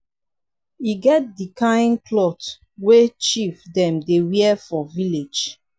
e get di kain clot wey chief dem dey wear for village.